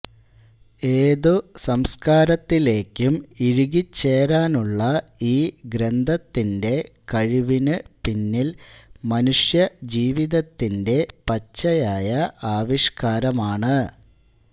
ഏതു സംസ്കാരത്തിലേക്കും ഇഴുകിച്ചേരാനുള്ള ഈ ഗ്രന്ഥത്തിൻറെ കഴിവിനുപിന്നിൽ മനുഷ്യജീവിതത്തിൻറെ പച്ചയായ ആവിഷ്കാരമാണ്